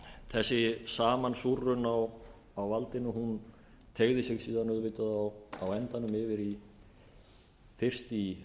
þessi samansúrrun á valdinu teygði sig síðan auðvitað á endanum yfir fyrst í